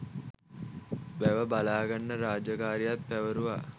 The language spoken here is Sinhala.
වැව බලාගන්න රාජකාරියත් පැවරුවා.